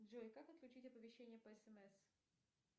джой как отключить оповещение по смс